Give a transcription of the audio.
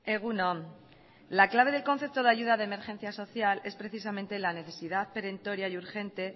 egun on la clave del concepto de ayuda de emergencia social es precisamente la necesidad perentoria y urgente